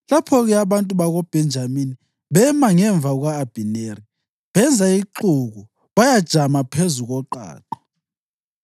Lapho-ke abantu bakoBhenjamini bema ngemva kuka-Abhineri. Benza ixuku bayajama phezu koqaqa.